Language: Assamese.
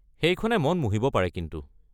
সেইখনে মন মুহিব পাৰে কিন্তু।